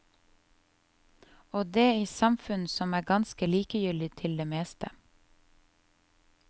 Og det i et samfunn som er ganske likegyldig til det meste.